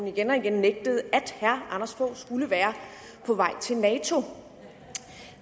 igen og igen nægtede at herre anders fogh rasmussen skulle være på vej til nato